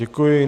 Děkuji.